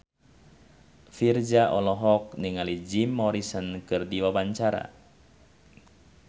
Virzha olohok ningali Jim Morrison keur diwawancara